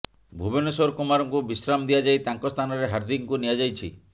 ଭୁବନେଶ୍ୱର କୁମାରଙ୍କୁ ବିଶ୍ରାମ ଦିଆଯାଇ ତାଙ୍କ ସ୍ଥାନରେ ହାର୍ଦ୍ଦିକଙ୍କୁ ନିଆଯାଇଛି